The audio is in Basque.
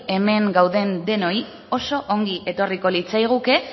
hemen gauden denoi oso ongi etorriko litzaiguke